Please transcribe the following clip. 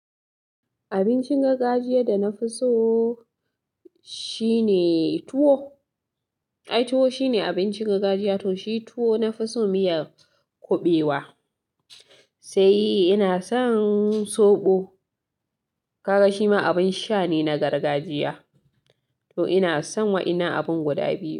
Abincin gargajiya da na fi so shine tuwo. Ai tuwo shine abincin gargajiya to shi tuwo na fi so miyar kuɓewa. Sai ina son soɓo, ka ga shima abin sha ne na gargajiya to ina son wa ina abin guda biyu.